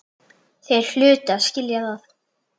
Þeir hlutu að skilja það.